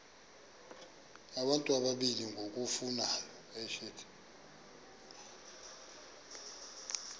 abantu abalili ngokufanayo